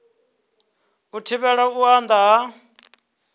u thivhela u anda ha